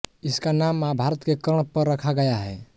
इसका नाम महाभारत के कर्ण पर रखा गया है